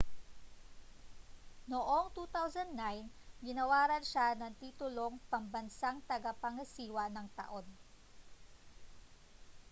noong 2009 ginawaran siya ng titulong pambansang tagapangasiwa ng taon